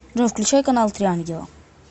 джой включай канал три ангела